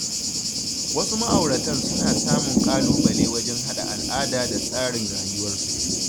Wasu ma’auratan suna samun ƙalubale wajen haɗa al’ada da tsarin rayuwarsu.